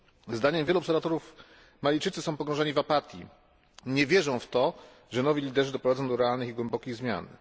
Zdaniem wielu obserwatorów Malijczycy są pogrążeni w apatii, nie wierzą w to, że nowi liderzy doprowadzą do realnych i głębokich zmian.